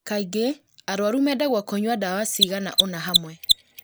Kaingĩ, arũaru mendagwo kũnyua ndawa cigana ũna hamwe